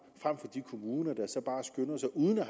frem for de kommuner der så bare skynder sig uden at